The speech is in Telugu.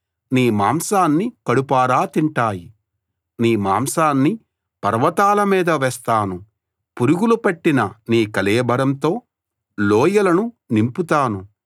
నీ మాంసాన్ని పర్వతాల మీద వేస్తాను పురుగులు పట్టిన నీ కళేబరంతో లోయలను నింపుతాను